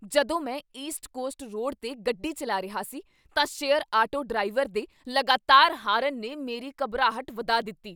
ਜਦੋਂ ਮੈਂ east coast road 'ਤੇ ਗੱਡੀ ਚੱਲਾ ਰਿਹਾ ਸੀ ਤਾਂ ਸ਼ੇਅਰ ਆਟੋ ਡਰਾਈਵਰ ਦੇ ਲਗਾਤਾਰ ਹਾਰਨ ਨੇ ਮੇਰੀ ਘਬਰਾਹਟ ਵਧਾ ਦਿੱਤੀ।